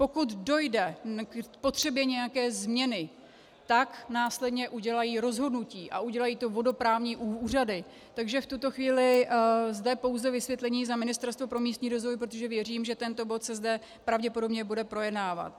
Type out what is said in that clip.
Pokud dojde k potřebě nějaké změny, tak následně udělají rozhodnutí, a udělají to vodoprávní úřady, takže v tuto chvíli zde pouze vysvětlení za Ministerstvo pro místní rozvoj, protože věřím, že tento bod se zde pravděpodobně bude projednávat.